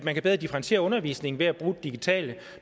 differentiere undervisningen ved at bruge digitale